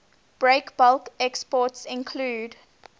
breakbulk exports include